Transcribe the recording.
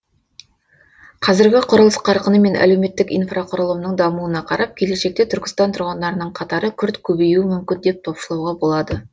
қазіргі құрылыс қарқыны мен әлеуметтік инфрақұрылымның дамуына қарап келешекте түркістан тұрғындарының қатары күрт көбеюі мүмкін деп топшылауға болады